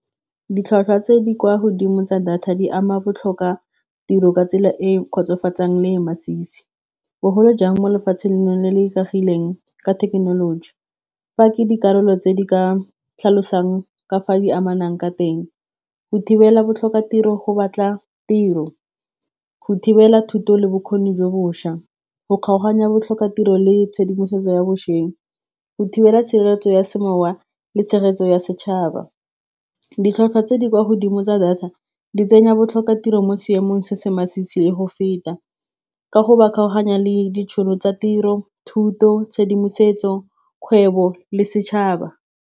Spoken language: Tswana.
Ditlhwatlhwa tse di kwa godimo tsa data di ama botlhokwa tiro ka tsela e kgotsofatsang le masisi bogolo jang mo lefatsheng le le ikagileng ka thekenoloji, fa ke dikarolo tse di ka tlhalosang ka fa di amanang ka teng, go thibela botlhokatiro go batla tiro, go thibela thuto le bokgoni jo bošwa, go kgaoganya botlhokatiro le tshedimosetso ya bošweng, go thibela tshireletso ya semowa le tshegetso ya setšhaba, ditlhwatlhwa tse di kwa godimo tsa data di tsenya botlhokwa tiro mo seemong se se masisi le go feta ka go ba kgaoganya le ditšhono tsa tiro, thuto, tshedimosetso, kgwebo, le setšhaba.